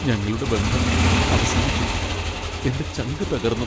ഞങ്ങളുടെ ബന്ധം അവസാനിച്ചു, എന്റെ ചങ്കു തകർന്നു .